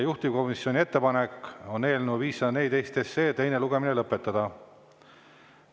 Juhtivkomisjoni ettepanek on eelnõu 514 teine lugemine lõpetada.